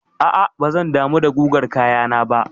A'a bazan damu da gugar kayana ba.